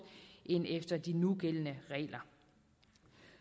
end efter de nugældende regler